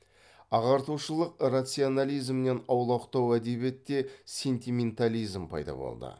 ағартушылық рационализмнен аулақтау әдебиетте сентиментализм пайда болды